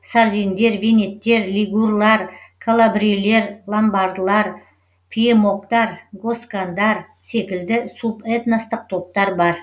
сардиндер венеттер лигурлар калабрилер ломбардылар пьемокттар госкандар секілді субэтностық топтар бар